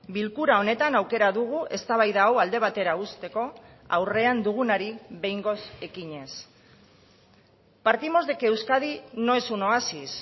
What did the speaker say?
bilkura honetan aukera dugu eztabaida hau alde batera uzteko aurrean dugunari behingoz ekinez partimos de que euskadi no es un oasis